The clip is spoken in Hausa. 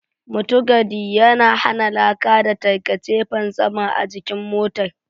Mutugadi yana hana laka da tarkace fantsama a jikin motar.